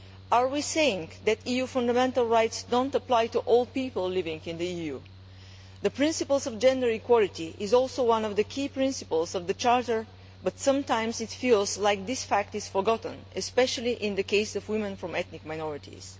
Are we saying that EU fundamental rights do not apply to all people living in the EU? The principle of gender equality is also one of the key principles of the Charter, but sometimes it feels as if this fact is forgotten, especially in the case of women from ethnic minorities.